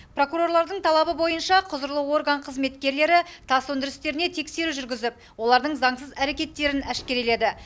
прокурорлардың талабы бойынша құзырлы орган қызметкерлері тас өндірістеріне тексеру жүргізіп олардың заңсыз әрекеттерін әшкереледі